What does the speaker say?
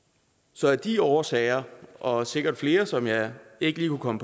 så af de årsager og sikkert flere som jeg ikke lige kunne